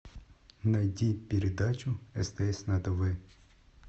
найди передачу стс на тв